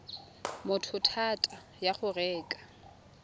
motho thata ya go reka